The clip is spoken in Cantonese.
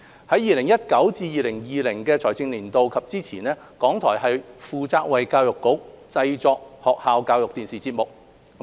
在 2019-2020 財政年度及之前，港台負責為教育局製作學校教育電視節目。